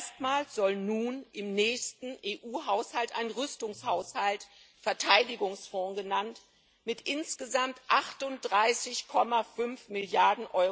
Erstmals soll nun im nächsten EU Haushalt ein Rüstungshaushalt Verteidigungsfonds genannt mit insgesamt 38,5 Mrd.